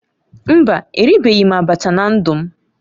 Mba, eribeghị m abacha na ndu m